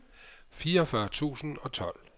fireogfyrre tusind og tolv